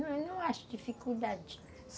Não acho dificuldade.